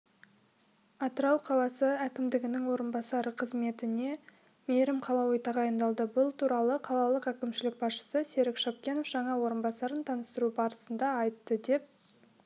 атырау қаласы әкімінің орынбасары қызметіне мейірім қалауи тағайындалды бұл туралы қалалық әкімшілік басшысы серік шапкенов жаңа орынбасарын таныстыру барысында айтты деп